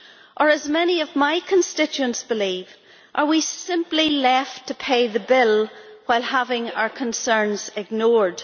Or as many of my constituents believe, are we simply left to pay the bill while having our concerns ignored?